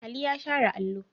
Ali ya share allo.